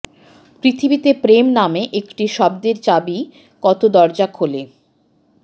পৃথিবীতে প্রেম নামে একটা শব্দের চাবি কত দরজা খোলে